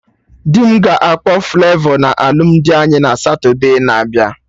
Dị m ga-akpọ Flavọ na alụmdi anyị na Satode na-abịa